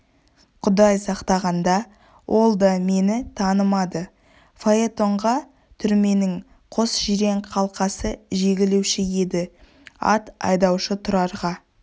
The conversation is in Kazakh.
құдай сақтағанда ол да мені танымады фаэтонға түрменің қос жирен қасқасы жегілуші еді ат айдаушы тұрарға